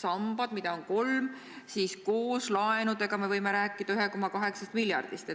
sambad, mida on kolm, siis koos laenudega me võime rääkida 1,8 miljardist.